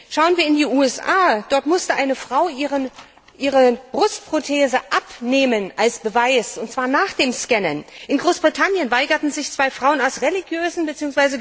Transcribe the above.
Schauen wir in die USA. Dort musste eine Frau ihre Brustprothese als Beweis abnehmen, und zwar nach dem Scannen. In Großbritannien weigerten sich zwei Frauen aus religiösen